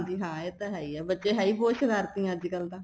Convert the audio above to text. ਹਾਂਜੀ ਹਾਂ ਇਹ ਤਾਂ ਹੈ ਹੀ ਏ ਬੱਚੇ ਹੈਈ ਬਹੁਤ ਸਰਾਰਤੀ ਅੱਜਕਲ ਤਾਂ